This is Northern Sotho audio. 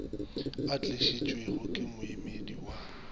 a tlišitšwego ke moemedi wa